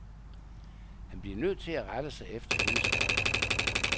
Han bliver nødt til at rette sig efter hendes ordrer.